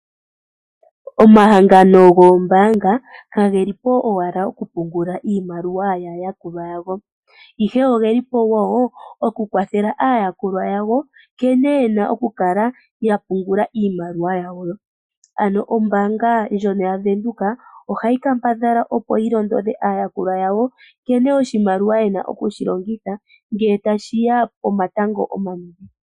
Omahangano goombanga kage li po owala oku pungula iimaliwa yaayakulwa ya wo, ihe ogeli po woo oku kwathela aayakulwa yawo nkene ye na oku kala yapungula iimaliwa yawo, ano ombaanga ndjono ya Windhoek ohayi kambadhala opo yi londodhe aayakulwa yawo nkene oshimaliwa ye na oku shi longitha, ngele tashiya pomatango omanene.